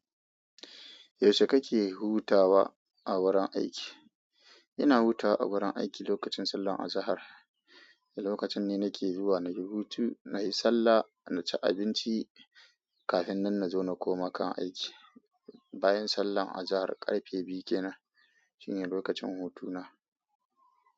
Yaushe kake hutawa a wurin aiki? Ina hutawa a wurin aiki lokacin sallar azahar. Lokacin ne nake zuwa na yi hutu, na yi sallah, na ci abinci kafin nan na zo na koma kan aiki. Bayan sallar azahar karfe biyu kenan shine lokacin hutuna.